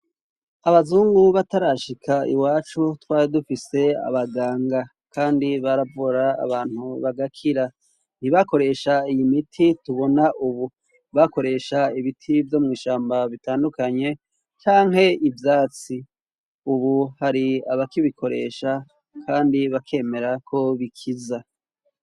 Abazungu batarashika iwacu twari dufise abaganga, kandi baravura abantu bagakira. Ntibakoresha iyi miti tubona ubu, bakoresha ibiti vyo mw'ishamba bitandukanye canke ivyatsi, ubu hari abakibikoresha kandi bakemera ko bikiza.